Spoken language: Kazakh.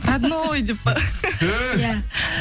родной деп па иә